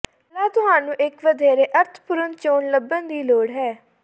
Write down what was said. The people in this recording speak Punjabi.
ਪਹਿਲਾਂ ਤੁਹਾਨੂੰ ਇੱਕ ਵਧੇਰੇ ਅਰਥਪੂਰਨ ਚੋਣ ਲੱਭਣ ਦੀ ਲੋੜ ਹੈ